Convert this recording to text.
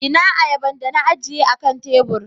Ina ayaban da na ajiye akan tebur?